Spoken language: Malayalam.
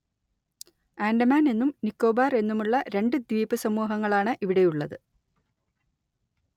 ആൻഡമാൻ എന്നും നിക്കോബാർ എന്നുമുള്ള രണ്ടു ദ്വീപുസമൂഹങ്ങളാണ് ഇവിടെയുള്ളത്